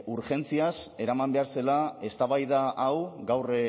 urgentziaz eraman behar zela eztabaida hau gaur